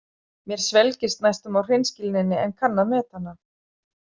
Mér svelgist næstum á hreinskilninni en kann að meta hana.